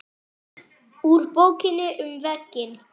Úr Bókinni um veginn